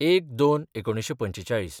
०१/०२/४५